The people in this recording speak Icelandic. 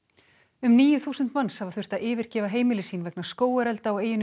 um níu þúsund manns hafa þurft að yfirgefa heimili sín vegna skógarelda á eyjunni